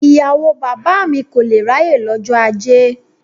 Ìyàwó bàbá mi kò lé ráyè lọ́jọ́ ajé.